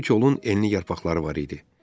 Bu kolun enli yarpaqları var idi.